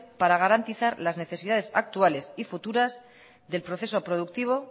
para garantizar las necesidades actuales y futuras del proceso productivo